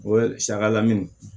O ye saga lamini